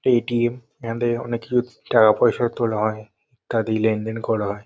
ATM. এখানে দিয়ে অনেক কিছু টাকা পয়সা তোলা হয় তা দিয়ে লেনদেন করা হয়।